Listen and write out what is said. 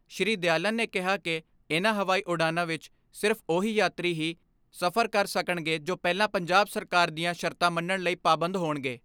ਸ੍ਰੀ ਦਿਆਲਨ ਨੇ ਕਿਹਾ ਕਿ ਇਨ੍ਹਾਂ ਹਵਾਈ ਉਡਾਣਾਂ ਵਿਚ ਸਿਰਫ ਉਹ ਹੀ ਯਾਤਰੀ ਹੀ ਸਫ਼ਰ ਕਰ ਸਕਣਗੇ ਜੋ ਪਹਿਲਾਂ ਪੰਜਾਬ ਸਰਕਾਰ ਦੀਆਂ ਸ਼ਰਤਾਂ ਮੰਨਣ ਲਈ ਪਾਬੰਦ ਹੋਣਗੇ।